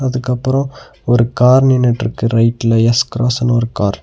அதுக்கப்ரோ ஒரு கார் நின்னுட்ருக்கு ரைட்ல எஸ்_கிராஸ்னு ஒரு கார் .